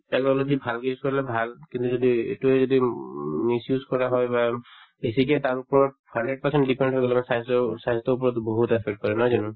technology ভালকে use কৰিলে ভাল কিন্তু যদি এইটোয়ে যদি উম misuse কৰা হয় বা বেছিকে hundred depend হৈ গলে স্বাস্থ্যৰো স্বাস্থ্যৰ ওপৰত বহুত effect কৰে নহয় জানো